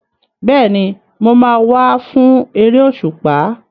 Bẹ́ẹ̀ni, mo máa wá fún eré òṣùpá.